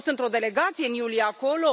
Eu am fost într o delegație în iulie acolo.